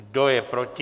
Kdo je proti?